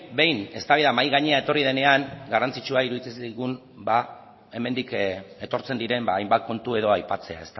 behin eztabaida mahai gainera etorri denean garrantzitsua iruditzen zaigun hemendik etortzen diren hainbat kontu edo aipatzea